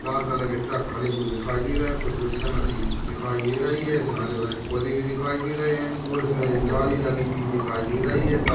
लाल colour के truck खड़े हुए दिखाई दे रहे है कुछ मिक्सर मशीन दिखाई दे रही है इसमे हरे भरे पौधे भी दिखाई दे रहे है और इसमे एक जाली लगाई हुई दिखाई दे रही है। ता--